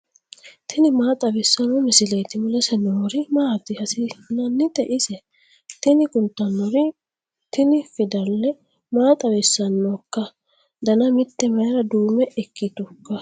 tini maa xawissanno misileeti ? mulese noori maati ? hiissinannite ise ? tini kultannori tini fidala maa xawissannoikka dana mite mayra duume kkitinoikka